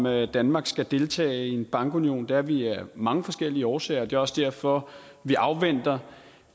at danmark skal deltage i en bankunion det er vi af mange forskellige årsager det er også derfor vi afventer